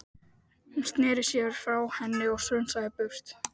Hún sneri sér frá henni og strunsaði í burtu.